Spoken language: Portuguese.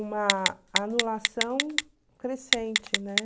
uma anulação crescente, né?